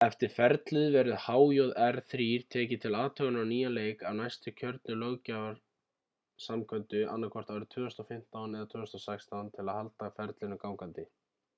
eftir ferlið verður hjr-3 tekið til athugunar á nýjan leik af næstu kjörnu löggjafarsamkundu annaðhvort árið 2015 eða 2016 til að halda ferlinu gangandi